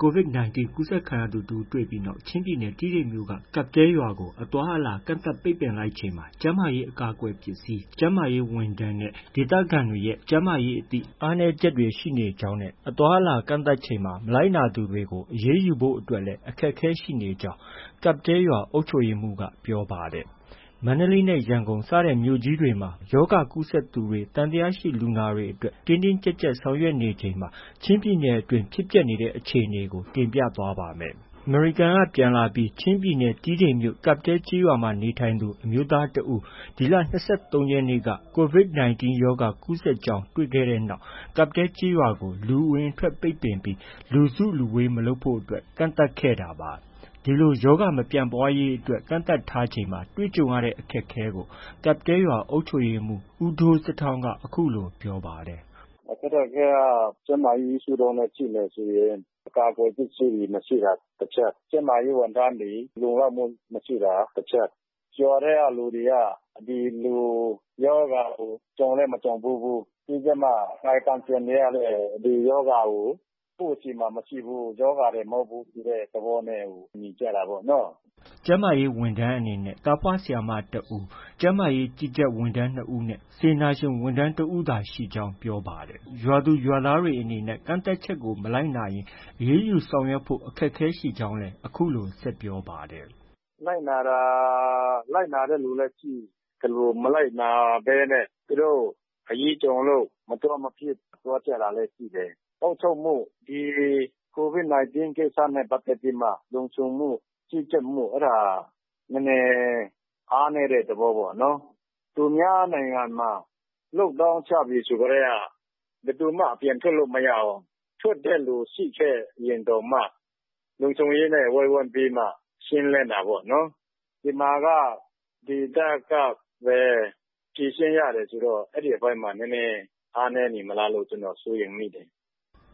COVID-19 ကူးစက်ခံရသူတဦး တွေ့ပြီးနောက် ချင်းပြည်နယ် တီးတိန်မြို့က ကပ်တဲလ်ကျေးရွာကို အသွားအလာ ကန့်သတ်ပိတ်ပင်လိုက်ချိန်မှာ ကျန်းမာရေး အကာအကွယ်ပစ္စည်း၊ ကျန်းမာရေးဝန်ထမ်း၊ ကျန်းမာရေးအသိ အားနည်းချက်တွေ ရှိနေကြောင်း၊ အသွားအလာ ကန့်သတ်ချိန်မှာ မလိုက်နာသူတွေကို အရေးယူဖို့အတွက်လည်း အခက်အခဲရှိနေကြောင်း ကပ်တဲလ်ကျေးရွာ အုပ်ချုပ်ရေးမှူးက ပြောပါတယ်။ မန္တလေးနဲ့ ရန်ကုန် စတဲ့မြို့ကြီးတွေမှာ ရောဂါကူးစက်သူတွေ၊ သံသယလူနာတွေအတွက် တင်းတင်းကျပ်ကျပ် ဆောင်ရွက်နေချိန်မှာ ချင်းပြည်နယ်အတွင်း ဖြစ်ပျက်နေတဲ့ အခြေအနေကို ကိုမိုးဇော်က တင်ပြထားပါတယ်။ အမေရိကန်က ပြန်လာပြီး ချင်းပြည်နယ်၊ တီးတိန်မြို့ ကပ်တဲလ်ကျေးရွာမှာ နေထိုင်သူ အမျိုးသားတဦး ဒီလ ၂၃ ရက်နေ့က COVID-19 ရောဂါ ကူးစက်ကြောင်း တွေ့ရှိခဲ့တဲ့နောက် ကပ်တဲလ်ကျေးရွာကို လူအဝင်အထွက် ပိတ်ပင်ပြီး လူစုလူဝေး မလုပ်ဖို့အတွက် ကန့်သတ်ခဲ့တာပါ။ ဒီလို ရောဂါမပြန့်ပွားရေးအတွက် ကန့်သတ်ထားချိန်မှာ တွေ့ကြုံရတဲ့ အခက်အခဲတွေကို ကပ်တဲလ်ကျေးရွာ အုပ်ချုပ်ရေးမှူး ဦးဒိုးဇတွောင်က အခုလို ပြောပါတယ်။ “အခက်အခဲက ကျန်းမာရေးရှုထောင့်နဲ့ ကြည့်မယ်ဆိုရင် မရှိတာတချက်၊ ကျန်းမာရေးဝန်ထမ်းတွေ လုံလောက်မှုမရှိတာ တချက်။ နောက်တခုက ရွာထဲကလူတွေက ဒီလိုရောဂါကို ကြုံလည်း မကြုံဖူးဘူး။ ပြီးတော့မှ ကာယကံရှင်တွေကလည်း ဒီရောဂါကို ကိုယ့်ဆီမှာမရှိဘူး၊ ရောဂါသည်မဟုတ်ဘူး ဆိုတဲ့ သဘောနဲ့ပဲ နေကြတာပေါ့နော။” ကျန်းမာရေးဝန်ထမ်းအနေနဲ့ ကျေးလက် ကျန်းမာရေးဝန်ထမ်း သားဖွားဆရာမတဦး၊ ကျန်းမာရေး ကြီးကြပ်ဝန်ထမ်း နှစ်ဦးနဲ့ စေတနာ့ဝန်ထမ်းတဦးသာရှိကြောင်း ပြောပါတယ်။ ရွာသူရွာသားတွေအနေနဲ့ ကန့်သတ်ချက်ကို မလိုက်နာရင် အရေးယူဆောင်ရွက်ဖို့ အခက်အခဲရှိကြောင်းလည်း အခုလို ဆက်ပြောပါတယ်။ “လိုက်နာတဲ့သူလည်းရှိသလို မလိုက်နာဘဲနဲ့ သူတို့ အရေးကြုံလို့ မသွားမဖြစ် သွားကြတာလည်း ရှိတယ်။ အုပ်ချုပ်မှု ဒီ COVID-19 ကိစ္စနဲ့ ပတ်သက်ပြီးမှ လုံခြုံမှု၊ ကြီးကြပ်မှု အဲဒါ နည်းနည်းအားနည်းတဲ့ သဘောပေါ့နော်။ သူများနိုင်ငံမှာ Lockdown ချပြီ ဆိုကတည်းက ဘယ်သူမှ အပြင်ထွက်လို့ မရဘူး။ ထွက်တဲ့သူ ရှိခဲ့ရင်တောင်မှ လုံခြုံရေးနဲ့ ဝိုင်းဝန်းပြီးမှ ရှင်းလင်းတာပေါ့နော်။ ဒီမှာက ကိုယ့်ဒေသကပဲ ဖြေရှင်းရတယ်ဆိုတော့ အဲဒီအပိုင်းမှာ အားနည်းနေမလားလို့ ကျနော်စိုးရိမ်မိတယ်။”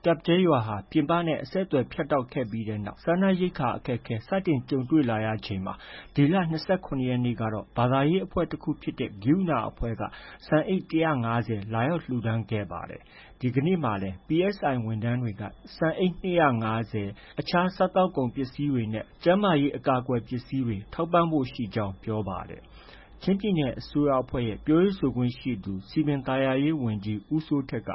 ကပ်တဲလ်ရွာဟာ ပြင်ပနဲ့ အဆက်အသွယ် ဖြတ်တောက်ခဲ့တဲ့နောက် စားနပ်ရိက္ခာ အခက်အခဲ စတင်ကြုံတွေ့လာချိန် ဒီလ ၂၇ ရက်နေ့ကတော့ ဘာသာရေးအဖွဲ့တခုဖြစ်တဲ့ ကရုဏာအဖွဲ့က ဆန်အိတ် ၁၅၀ လာရောက်လှူဒါန်းခဲ့ပါတယ်။ ဒီကနေ့မှာလည်း PSI ဝန်ထမ်းတွေက ဆန်အိတ် ၂၅၀၊ အခြားစားကုန်ပစ္စည်းတွေနဲ့ အကာအကွယ်ပစ္စည်းတွေ ထောက်ပံ့ဖို့ ရှိကြောင်း ပြောပါတယ်။ ချင်းပြည်နယ်အစိုးရအဖွဲ့ရဲ့ ပြောရေးဆိုခွင့်ရှိသူ စည်ပင်သာယာရေးဝန်ကြီး ဦးစိုးထက်က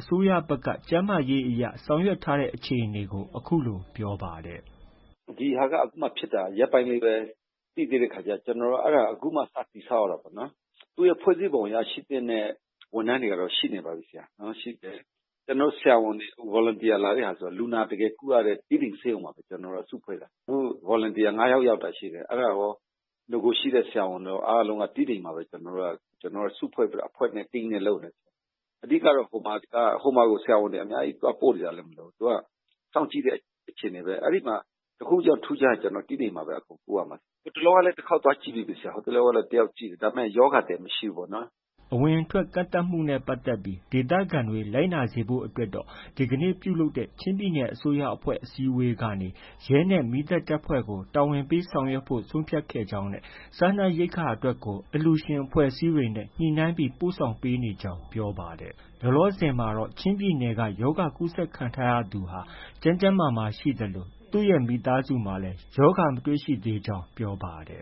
အစိုးရဘက်က ကျန်းမာရေးအရ ဆောင်ရွက်ထားတဲ့ အခြေအနေကို အခုလို ပြောပြပါတယ်။ “ဒီဟာက ဖြစ်တာ ရက်ပိုင်းလေးပဲ ရှိသေးတာဆိုတော့ ကျနော်တို့က အခုမှ စတည်ဆောက်ရတာပေါ့နော်။ သူ့ရဲ့ ဖွဲ့စည်းပုံအရ ရှိသင့်တဲ့ ဝန်ထမ်းတွေကတော့ ရှိနေပါပြီ။ ကျနော်တို့က ဆရာဝန်တွေ အခု Volunteer လာတဲ့ဟာတွေက တကယ်ကုရတဲ့ တီးတိန်ဆေးရုံမှာပဲ ကျနော်တို့က စုဖဲ့ွတာ။ အခု Volunteer ၅ ယောက် ရောက်တာရှိတယ်။ နဂိုရှိတဲ့ ဆရာဝန်တွေရော အားလုံးက တီးတိန်မှာပဲ စုဖွဲ့ပြီးတော့ အဖွဲ့နဲ့ team နဲ့ လုပ်နေတာ။ အဓိကက ဟိုမှာကို ဆရာဝန်တွေ အများကြီး သွားပို့စရာလည်း မလိုဘူး။ စောင့်ကြည့်တဲ့ အခြေအနေပဲ။ အဲဒီမှာ တခုခုထူးခြားရင် တီးတိန်မှာပဲ ပို့ရမှာ အကုန်လုံးက။ ဟိုတလောကလည်း တခေါက်သွားကြည့်ပြီးပြီ။ တယောက်သွားကြည့်ပြီးပြီ။ ဒါပေမယ့် ရောဂါသည်မရှိဘူးပေါ့။” အဝင်အထွက် ကန့်သတ်မှုနဲ့ပတ်သက်ပြီး ဒေသခံတွေ လိုက်နာစေဖို့အတွက်တော့ ဒီကနေ့ပြုလုပ်တဲ့ ချင်းပြည်နယ် အစိုးရအဖွဲ့ အစည်းအဝေးကနေ ရဲနဲ့ မီးသတ်အဖွဲ့ကို တာဝန်ပေးဆောင်ရွက်ဖို့ ဆုံးဖြတ်ခဲ့ကြောင်းနဲ့ စားနပ်ရိက္ခာအတွက် အလှူရှင်တွေ၊ အဖွဲ့အစည်းတွေနဲ့ ညှိနှိုင်းပြီး ပို့ဆောင်ပေးနေကြောင်း ပြောပါတယ်။ လောလောဆယ်မှာတော့ ချင်းပြည်နယ်က ရောဂါကူးစက်ခံထားရသူဟာ ကျန်းကျန်းမာမာရှိသလို သူ့ရဲ့မိသားစုမှာလည်း ရောဂါမတွေ့သေးကြောင်း ပြောပါတယ်